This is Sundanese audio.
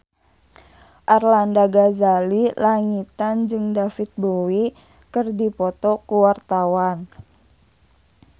Arlanda Ghazali Langitan jeung David Bowie keur dipoto ku wartawan